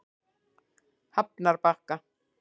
Hafnarbakka